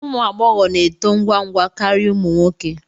Ụmụ agbọghọ na-eto ngwa ngwa karịa ụmụ nwoke